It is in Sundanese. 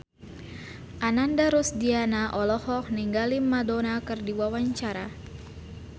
Ananda Rusdiana olohok ningali Madonna keur diwawancara